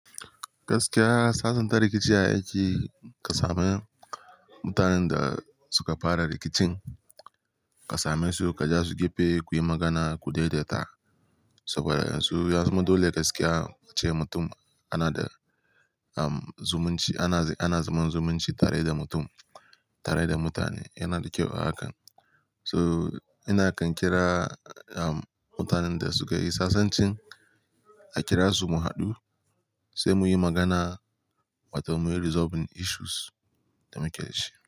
Gaskiya salsnta rikici a aiki ka sami mutanen da suka fara rikicin, ka same su, ka ja su gefe kuyi magana ku daidaita. Saboda yanzu yanzu dole gaskiya ce mutum ana da, um, zumunci, ana, ana zaman zumunci tare da mutum, tare da mutane yana da kyau a hakan. So ina kan kira, um, mutanen da sukayi sasanci a kira su mu haɗu sai muyi magana wata munyi resolving issues da muke shi.